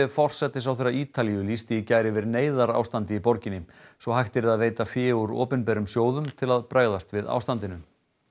forsætisráðherra Ítalíu lýsti í gær yfir neyðarástandi í borginni svo hægt yrði að veita fé úr opinberum sjóðum til að bregðast við ástandinu